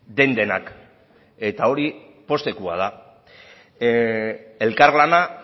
den denak eta hori poztekoa da elkarlana